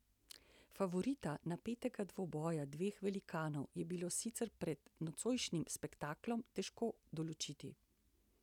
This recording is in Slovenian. Favorita napetega dvoboja dveh velikanov je bilo sicer pred nocojšnjim spektaklom težko določiti.